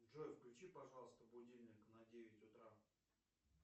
джой включи пожалуйста будильник на девять утра